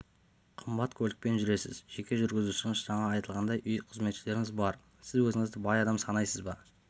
қымбат көлікпен жүресіз жеке жүргізушіңіз жаңа айтылғандай үй қызметшілеріңіз бар сіз өзіңізді бай адам санайсыз ба